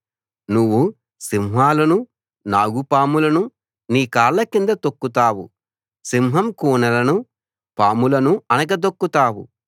నువ్వు సింహాలనూ నాగుపాములను నీ కాళ్ళ కింద తొక్కుతావు సింహం కూనలను పాములను అణగదొక్కుతావు